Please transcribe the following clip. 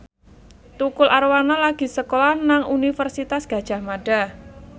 Tukul Arwana lagi sekolah nang Universitas Gadjah Mada